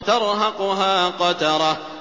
تَرْهَقُهَا قَتَرَةٌ